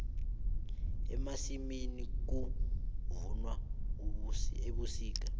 emasimini kuvunwa ebusika